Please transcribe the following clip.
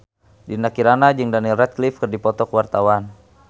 Dinda Kirana jeung Daniel Radcliffe keur dipoto ku wartawan